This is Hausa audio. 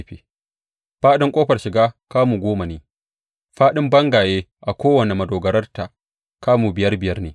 Faɗin ƙofar shiga kamu goma ne, fāɗin bangaye a kowane madogararta kamu biyar biyar ne.